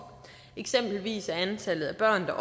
eksempelvis er antallet af børn der